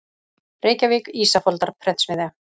Reykjavík: Ísafoldarprentsmiðja.